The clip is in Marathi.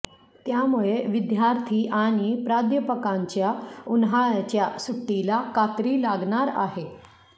त्यामुळे विद्यार्थी आणि प्राध्यापकांच्या उन्हाळ्याच्या सुट्टीला कात्री लागणार आहे